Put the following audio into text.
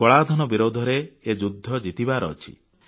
କଳାଧନ ବିରୋଧରେ ଏ ଯୁଦ୍ଧ ଜିତିବାର ଅଛି